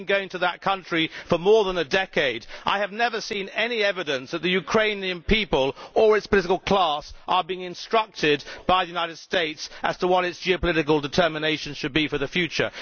I have been going to that country for more than a decade, and I have never seen any evidence that the Ukrainian people or Ukraine's political class are being instructed by the United States as to what the country's geopolitical determination should be for the future.